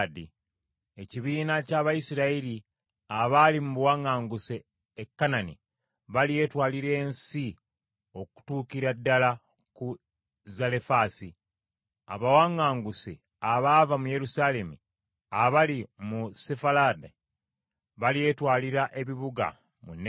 Ekibiina ky’Abayisirayiri abaali mu buwaŋŋanguse e Kanani, balyetwalira ensi, okutuukira ddala ku Zalefaasi; abawaŋŋanguse abaava mu Yerusaalemi abali mu Sefalaadi, balyetwalira ebibuga mu Negebu.